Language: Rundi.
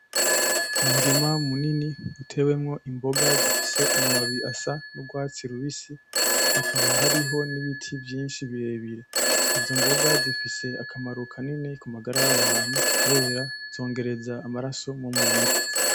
Umurima munini utewemwo imboga zifise amababi asa n'urwatsi rubisi hakaba hariho n'ibiti vyinshi birebire, izo mboga zifise akamaro kanini kumagara u’abantu kubera zongereza amaraso mumubiri .